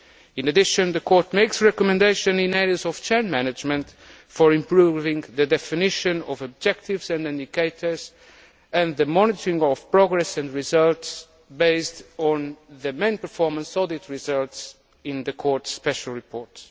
In addition, the Court makes recommendations in areas of shared management for improving the definition of objectives and indicators and the monitoring of progress and results based on the main performance audit results in the Court's Special Reports.